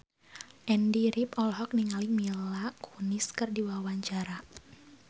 Andy rif olohok ningali Mila Kunis keur diwawancara